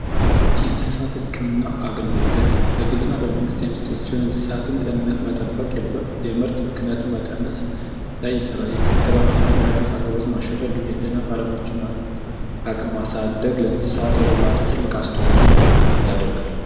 የእንስሳት ህክምና አገልግሎት በግልና በመንግሥት የሚሰራጥ ሲሆን፤ እንስሳትን ጤንነት መጠበቅ የምርት ብክነትን መቀነስ ላይ ይሠራል። የክትባት መድሃኒት አቅርቦት ማሻሻል እንዲሁም፤ የጤና ባለሙያዎች አቅም ማሳደግ ለእንስሳት እርባታው ትልቅ አስተዋጽኦ ያደርጋል።